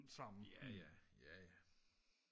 jaja jaja